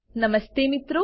નમસ્તે મિત્રો